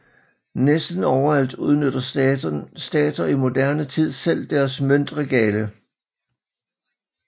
Næsten overalt udnytter stater i moderne tid selv deres møntregale